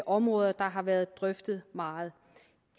områder der har været drøftet meget